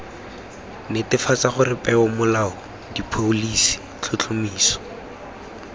netefatsa gore peomolao dipholisi tlhotlhomiso